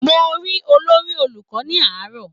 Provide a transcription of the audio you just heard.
Mo rí olórí olùkọ́ ní àárọ̀